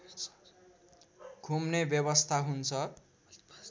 घुम्ने व्यवस्था हुन्छ